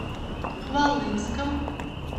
хвалынском